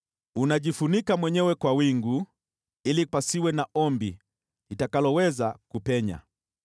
Unajifunika mwenyewe kwa wingu, ili pasiwe na ombi litakaloweza kupenya.